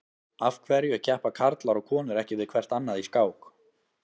Af hverju keppa karlar og konur ekki við hvert annað í skák?